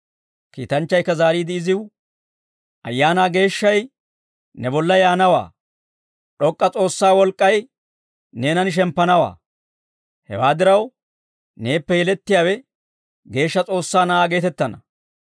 Kiitanchchaykka zaariide iziw, «Ayaanaa Geeshshay ne bolla yaanawaa; D'ok'k'a S'oossaa wolk'k'ay neenan shemppanawaa. Hewaa diraw, neeppe yelettiyaawe geeshsha S'oossaa Na'aa geetettana.